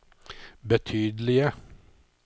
betydelige